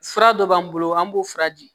Fura dɔ b'an bolo an b'o fura di